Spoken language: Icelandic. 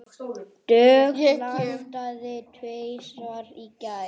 Dögg landaði tvisvar í gær.